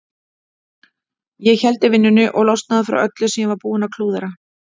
Ég héldi vinnunni og losnaði frá öllu sem ég var búinn að klúðra.